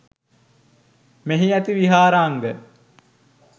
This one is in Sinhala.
මෙහි ඇති විහාරාංග